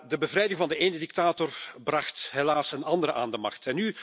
De bevrijding van de ene dictator bracht echter helaas een andere aan de macht.